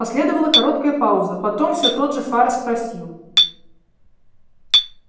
последовала короткая пауза потом все тот же фара спросил